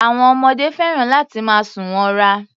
Àwọn ọmọdé fẹ́ràn láti máa sùn wọra.